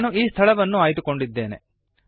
ನಾನು ಈ ಸ್ಥಳವನ್ನು ಆಯ್ದುಕೊಂಡಿದ್ದೇನೆ